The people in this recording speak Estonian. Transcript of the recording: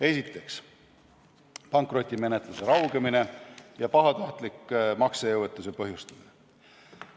Esiteks, pankrotimenetluse raugemine ja pahatahtlik maksejõuetuse põhjustamine.